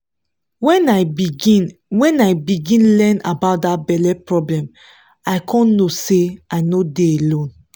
when i begin when i begin learn about that belle problem i come know say i no dey alone